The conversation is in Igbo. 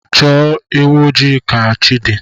Chọọ ewụ ojii ka chi di